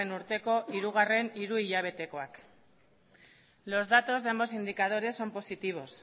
urteko hirugarren hiruhilabetekoak los datos de ambos indicadores son positivos